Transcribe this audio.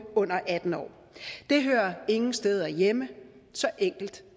under atten år det hører ingen steder hjemme så enkelt